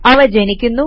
അവ ജനിക്കുന്നു